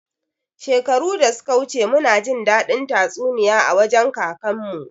Shekaru da suka wuce muna jin daɗin tatsuniya a wajen kakan mu